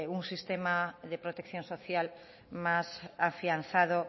un sistema de protección social más afianzado